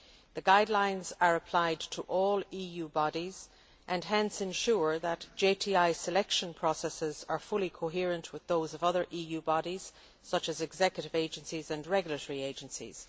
The guidelines are applied to all EU bodies and hence ensure that JTI selection processes are fully coherent with those of other EU bodies such as executive agencies and regulatory agencies.